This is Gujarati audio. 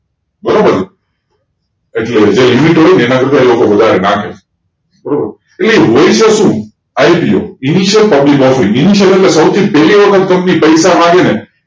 બરોબર એટલે જે હતું એના કરતા એ લોકો વધારે નાખેબારોબાર એ હોય છે સુ IPO Initial public offering, એટલે કે સૌથી પહેલી વખત company પૈસા માંગે ને